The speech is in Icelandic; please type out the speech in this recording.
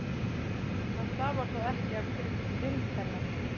Það stafar þó ekki af grimmd hennar.